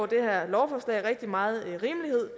det her lovforslag altså rigtig meget rimelighed